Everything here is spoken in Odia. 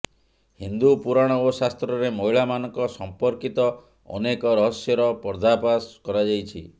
ହିନ୍ଦୁ ପୁରାଣ ଓ ଶାସ୍ତ୍ରରେ ମହିଳାମାନଙ୍କ ସଂପର୍କୀତ ଅନେକ ରହସ୍ୟର ପର୍ଦ୍ଦାଫାସ କରାଯାଇଛି